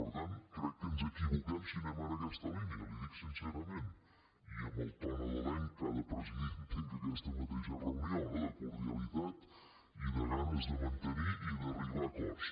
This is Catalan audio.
per tant crec que ens equivoquem si anem en aquesta línia li ho dic sincerament i amb el to nadalenc que ha de presidir entenc aquesta mateixa reunió no de cor·dialitat i de ganes de mantenir i d’arribar a acords